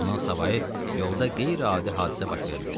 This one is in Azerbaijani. Bundan savayı yolda qeyri-adi hadisə baş vermədi.